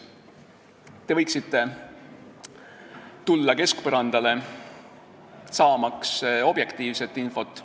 Te võiksite tulla keskpõrandale, saamaks objektiivset infot.